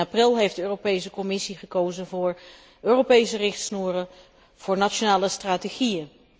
In april heeft de Europese Commissie gekozen voor Europese richtsnoeren, voor nationale strategieën.